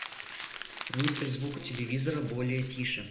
выставь звук у телевизора более тише